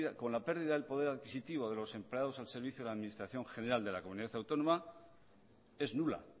con la pérdida del poder adquisitivo de los empleados al servicio de la administración general de la comunidad autónoma vasca es nula